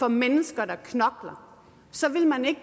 mennesker der knokler så ville man ikke